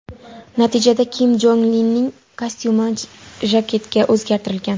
Natijada Kim Jong Ilning kostyumi jaketga o‘zgartirilgan.